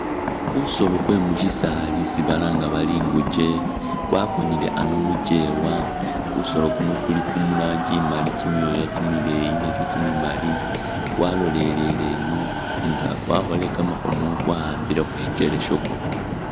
Kusoolo kwe mushisaali isi balanga bari ingukye kwakonele ano mukyewa ,kusoolo kuno kuli muranji imaali kimyooya kimileyi nakyo kimimaali ,walolelele eno nga kwakholele kamakhono kwa'ambile khusikyele shakwo